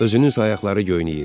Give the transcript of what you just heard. Özünün ayaqları göynəyir.